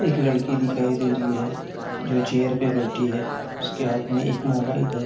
एक लड़की दिखाई दे री है जो चेयर पे बैठी है उसके हाथ में एक मोबाइल हैं।